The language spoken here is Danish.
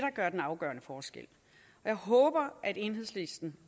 gør den afgørende forskel jeg håber at enhedslisten